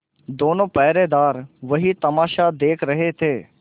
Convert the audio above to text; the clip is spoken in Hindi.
दोनों पहरेदार वही तमाशा देख रहे थे